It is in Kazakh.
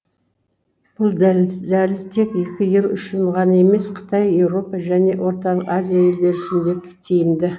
бұл дәліз тек екі ел үшін ғана емес қытай еуропа және орталық азия елдері үшін де тиімді